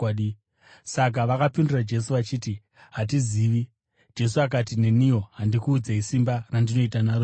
Saka vakapindura Jesu vachiti, “Hatizivi.” Jesu akati, “Neniwo handikuudzei simba randinoita naro zvinhu izvi.”